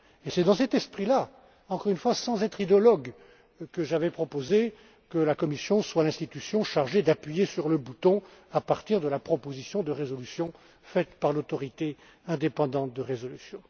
C'est dans cet esprit, encore une fois sans être idéologue, que j'avais proposé que la Commission soit l'institution chargée d'appuyer sur le bouton à partir de la proposition de résolution faite par l'autorité indépendante de résolution.